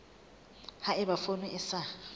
ha eba poone e sa